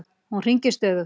Hún hringir stöðugt.